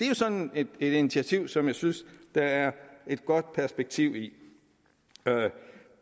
jo sådan et initiativ som jeg synes der er et godt perspektiv i